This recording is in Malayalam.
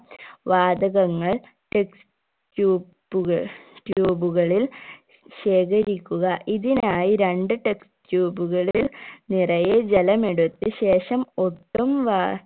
വാതകങ്ങൾ test tube ക tube കളിൽ ശേഖരിക്കുക ഇതിനായി രണ്ട് test tube കളിൽ നിറയെ ജലമെടുത്ത ശേഷം ഒട്ടും വാ